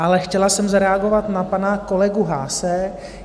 Ale chtěla jsem zareagovat na pana kolegu Haase.